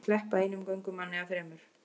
Hyggjast sleppa einum göngumanni af þremur